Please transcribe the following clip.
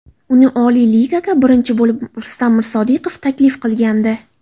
Uni Oliy Ligaga birinchi bo‘lib Rustam Mirsodiqov taklif qilgandi.